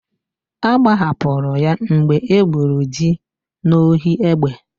Agbahapụrụ ya mgbe e gburu dị n'ohi egbe.